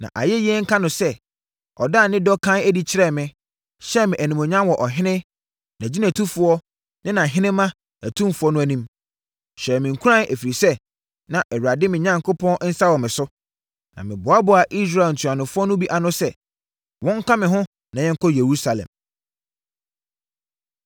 Na ayɛyie nka no sɛ, ɔdaa ne dɔ kann adi kyerɛɛ me, hyɛɛ me animuonyam wɔ ɔhene, nʼagyinatufoɔ ne nʼahenemma atumfoɔ no anim. Ɛhyɛɛ me nkuran, ɛfiri sɛ, na Awurade, me Onyankopɔn nsa wɔ me so. Na meboaboaa Israel ntuanofoɔ no bi ano sɛ, wɔnka me ho na yɛnkɔ Yerusalem.